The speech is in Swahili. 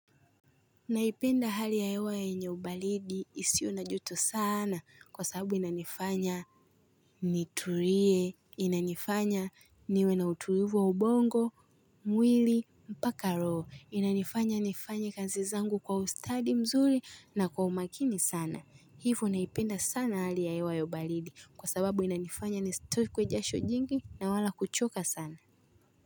Naipenda hali ya hewa yenye ubalidi isiyo na joto sana kwa sababu inanifanya nitulie, inanifanya niwe na utulivu wa ubongo, mwili, mpaka roho, inanifanya nifanye kazi zangu kwa ustadi mzuri na kwa umakini sana. Ivo naipenda sana hali ya hewa ya ubalidi kwa sababu inanifanya nisitokwe jasho jingi na wala kuchoka sana.